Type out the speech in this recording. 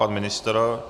Pan ministr?